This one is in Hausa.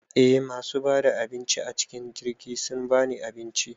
Eh masu bada abinci acikin jirgi sun bani abinci